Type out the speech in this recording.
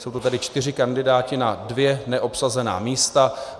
Jsou to tedy čtyři kandidáti na dvě neobsazená místa.